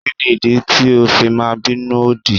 Kí ni ìdí tí o fi máa bínú òdì?